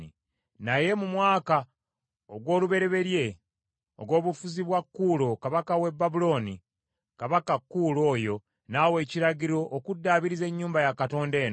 “Naye mu mwaka ogw’olubereberye ogw’obufuzi bwa Kuulo kabaka w’e Babulooni, kabaka Kuulo oyo n’awa ekiragiro okuddaabiriza ennyumba ya Katonda eno.